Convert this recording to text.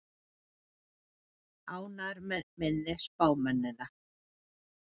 Ferguson ánægður með minni spámennina